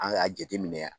An k'a jateminɛ